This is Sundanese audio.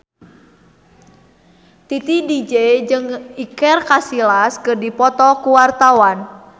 Titi DJ jeung Iker Casillas keur dipoto ku wartawan